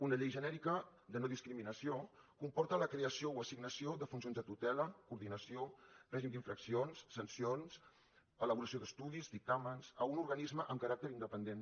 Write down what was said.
una llei genèrica de nodiscriminació comporta la creació o assignació de funcions de tutela coordinació règim d’infraccions sancions elaboració d’estudis dictàmens a un organisme amb caràcter independent